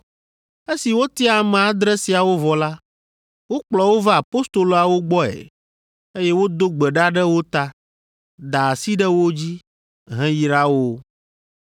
Esi wotia ame adre siawo vɔ la, wokplɔ wo va apostoloawo gbɔe, eye wodo gbe ɖa ɖe wo ta, da asi ɖe wo dzi, heyra wo.